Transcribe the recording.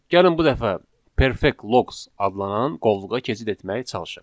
Gəlin bu dəfə Perfect Logs adlanan qovluğa keçid etməyə çalışaq.